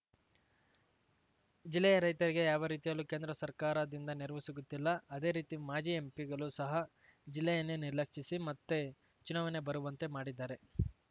ಜಿಲ್ಲೆಯ ರೈತರಿಗೆ ಯಾವ ರೀತಿಯಲ್ಲೂ ಕೇಂದ್ರ ಸರ್ಕಾರ ದಿಂದ ನೆರವು ಸಿಗುತ್ತಿಲ್ಲ ಅದೇ ರೀತಿ ಮಾಜಿ ಎಂಪಿಗಳು ಸಹಾ ಜಿಲ್ಲೆಯನ್ನೇ ನಿರ್ಲಕ್ಷಿಸಿ ಮತ್ತೆ ಚುನಾವಣೆ ಬರುವಂತೆ ಮಾಡಿದ್ದಾರೆ